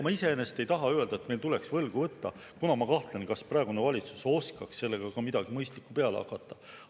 Ma iseenesest ei taha sellega öelda, et meil tuleks võlgu võtta, kuna ma kahtlen, kas praegune valitsus oskaks sellega midagi mõistlikku peale hakata.